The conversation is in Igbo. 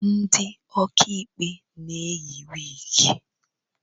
Ndị okaikpe na-eyị wịgị